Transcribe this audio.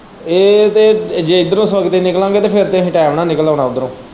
ਇਹ ਤੇ ਜੇ ਇੱਧਰੋਂ ਸੁੱਖ ਦੇ ਨਿਕਲ਼ਾਗੇ ਤੇ ਫੇਰ ਤੇ ਆਹੀ ਟੈਮ ਨਾਲ਼ ਨਿਕਲ਼ ਆਉਣਾ ਉੱਧਰੋਂ।